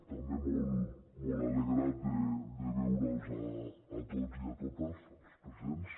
també molt alegre de veure’ls a tots i a totes els presents